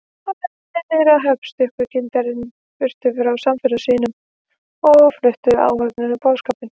Á leiðinni niður að höfn stökk kyndarinn burtu frá samferðamönnum sínum, sem fluttu áhöfninni boðskap